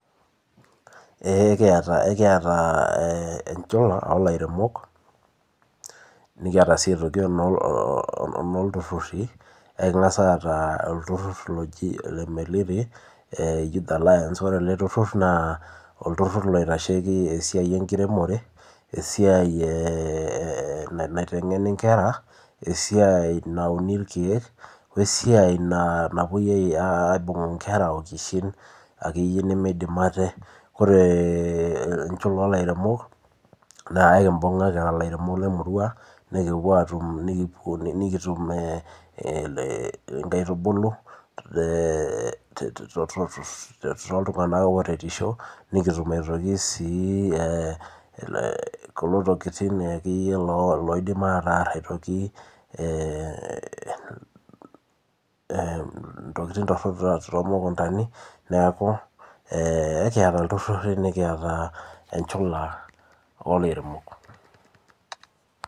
eee ekiyata enchula enoo ilaremok nekiataa sii aitoki enoo iltururi ekinggaas aaata olturur loojii lemereri youth alliance naa olturur looitasheki esia enkiremore esiaa naitengeni inkera, esiaii nawunii ooo esiai napuoi aibuung inkera ookishin akeyie nemeidim ate. enchuka ooilaremok naa ekibunga kiraa ilaremok lemuruaa nikipuo nekipuo atuum inkaitubulu too iltunganak oooreshisho nekitum aitokii sii kulo tokiting loidiim ataraar kuna tokiting torok too mukumendani niakuu ekiata iltururi nekiata enchula oilaremok.